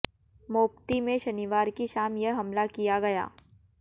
Mopti में शनिवार की शाम यह हमला किया गया